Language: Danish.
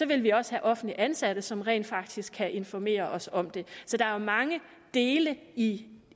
vil vi også have offentligt ansatte som rent faktisk kan informere os om det så der er mange dele i